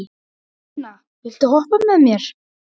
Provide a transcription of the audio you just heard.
Jónasína, viltu hoppa með mér?